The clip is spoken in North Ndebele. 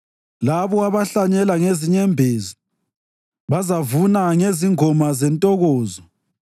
Labo abahlanyela ngezinyembezi bazavuna ngezingoma zentokozo.